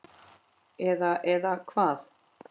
Eða, eða hvað?